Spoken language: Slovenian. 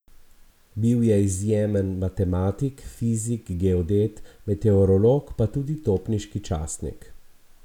Bil je izjemen matematik, fizik, geodet, meteorolog pa tudi topniški častnik.